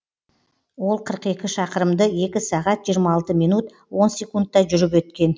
ол қырық екі шақырымды екі сағат жиырма алты минут он секундта жүріп өткен